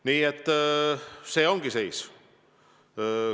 Nii et see ongi seis.